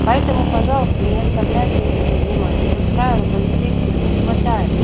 поэтому пожалуйста не оставляйте это без внимания как правило полицейских не хватает